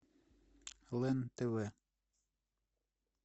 лен тв